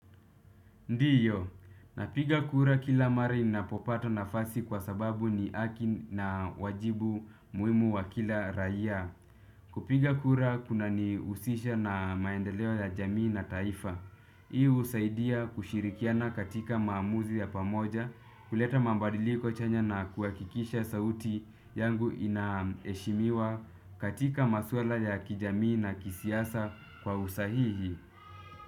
Ndiyo, napiga kura kila mara ninapopata nafasi kwa sababu ni haki na wajibu muhimu wa kila raia. Kupiga kura kuna ni husisha na maendeleo ya jamii na taifa. Hii husaidia kushirikiana katika maamuzi ya pamoja kuleta mabadiliko chanya na kuhakikisha sauti yangu inaheshimiwa katika maswala ya kijamii na kisiasa kwa usahihi.